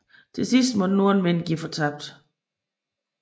Til sidst måtte nordenvinden give fortabt